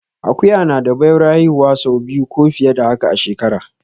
Akuya na da baiwar haihuwa sau biyu ko fiye da haka a shekara